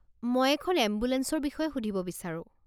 মই এখন এম্বুলেঞ্চৰ বিষয়ে সুধিব বিচাৰো।